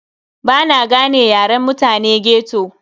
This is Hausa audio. Bana gane yaren mutane ghetto.